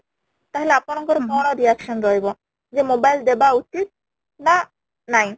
ତାହେଲେ ଆପଣ ଙ୍କର କ'ଣ reaction ରହିବ ଯେ mobile ଦେବା ଉଚିତ ନା ନାଇଁ ?